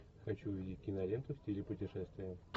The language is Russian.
хочу увидеть киноленту в стиле путешествие